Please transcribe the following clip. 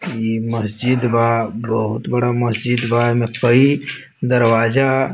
इ मस्जिद बा बहुत बड़ा मस्जिद बा एमे कई दरवाजा --